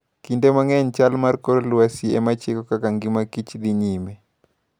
Kinde mang'eny, chal mar kor lwasi e ma chiko kaka ngima Kich dhi nyime.